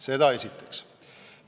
Seda esiteks.